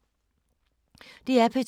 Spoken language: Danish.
DR P2